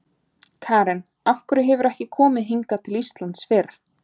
Karen: Af hverju hefurðu ekki komið hingað til Íslands fyrr?